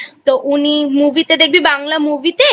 তো উনি Movie তে দেখবি বাংলা Movie তে